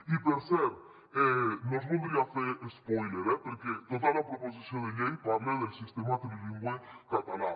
i per cert no us voldria fer espòiler eh perquè tota la proposició de llei parla del sistema trilingüe català